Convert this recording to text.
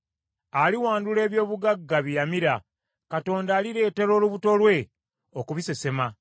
Aliwandula eby’obugagga bye yamira; Katonda alireetera olubuto lwe okubisesema.